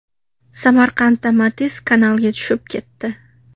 Samarqandda Matiz kanalga tushib ketdi.